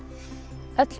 öll